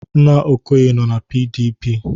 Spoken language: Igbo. Nna Okoye nọ na PDP.